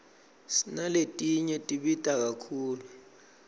sinaletinye tibita kakhulu